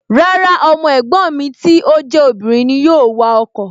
Rárá, ọmọ ẹ̀gbọ́n mi tí ó jẹ́ obìnrin ni yóò wa ọkọ̀